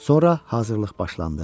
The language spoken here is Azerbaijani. Sonra hazırlıq başlandı.